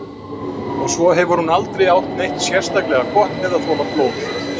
Og svo hefur hún heldur aldrei átt neitt sérstaklega gott með að þola blóð.